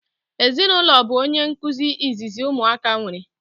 Ezinụlọ bu onye nkụzi izizi ụmụaka nwere